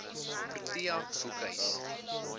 protea boekhuis